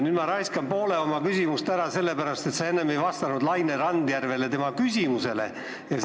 Nüüd ma raiskan poole oma küsimusest ära sellepärast, et sa enne ei vastanud Laine Randjärve küsimusele.